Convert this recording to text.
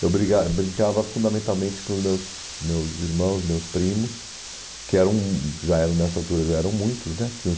Eu bringa brincava fundamentalmente com meus meus irmãos, meus primos, que eram, já eram nessa altura já eram muitos né, tinham uns